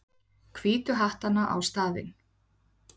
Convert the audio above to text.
Hvítu hattana á staðinn.